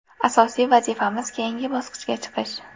Asosiy vazifamiz keyingi bosqichga chiqish.